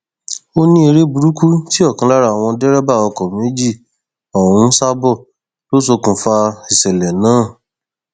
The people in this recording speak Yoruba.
ó ní eré burúkú tí ọkan lára àwọn dẹrẹbà ọkọ méjì ọhún ń sá bọ lọ ṣokùnfà ìṣẹlẹ náà